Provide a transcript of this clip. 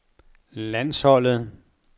landsholdet